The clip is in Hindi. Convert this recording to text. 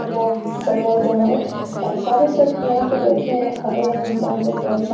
सजा सजा-उजा है और सारे सब यहाँ पे बैठे है खड़े है इंसान लोग बहुत सा --